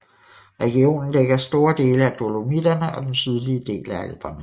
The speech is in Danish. Regionen dækker store dele af Dolomitterne og den sydlige af Alperne